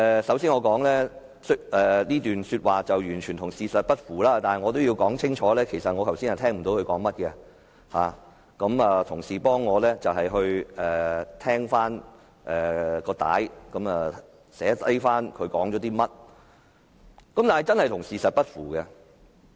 首先，我要指出這段說話與事實完全不符，但我也要清楚表明，我剛才其實也聽不清楚他在說甚麼，是同事為我重聽錄音及記下這段說話，但這話真的與事實不符。